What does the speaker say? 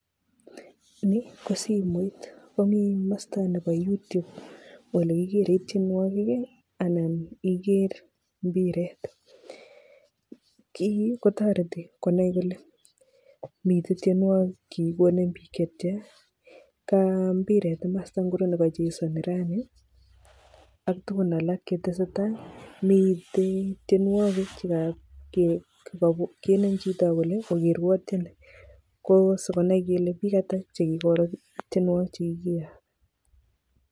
Ni kosimoit komimasta nebo youtube ole kikere tienwokik[ii] anan iker mbiret. kii kotoreti konai kole mitei tienwokik chekikonem biik chetia kambiret kimasta ngiro nekachesani rani aktugun alak chetesetai mitei tienwokik chekenem chito akole ogerwo tieni ko sikonai kele biik ata chekikoker tienwokik chekikeyok.